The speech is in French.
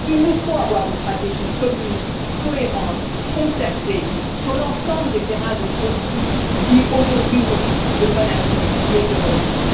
Il nous faut avoir une stratégie commune, cohérente et concertée sur l'ensemble des terrains de conflit qui aujourd'hui nourrissent le fanatisme et le terrorisme.